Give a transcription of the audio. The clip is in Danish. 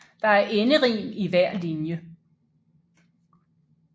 Der er enderim i hver linje